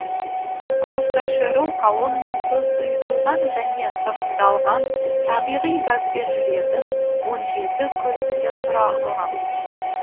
автошеру колоннасы сұйытылған және сығымдалған табиғи газбен жүретін он жеті көліктен тұралған